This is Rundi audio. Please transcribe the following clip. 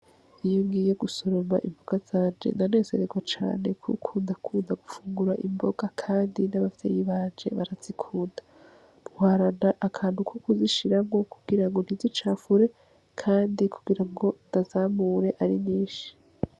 Iyogiye gusoroba impuga zanje na nesereko canekukunda kunda gufungura imboga, kandi n'abavyeyi banje barazikuda muharana akantu uko kuzishirabwo kugira ngo ntizicafure, kandi kugira ngo ndazamure ari nyinshi.